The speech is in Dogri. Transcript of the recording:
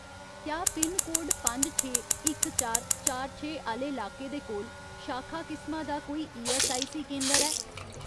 क्या पिनकोड पंज छे, इक चार, चार छे आह्‌ले लाके दे कोल शाखा किसमा दा कोई ईऐस्सआईसी केंदर ऐ ?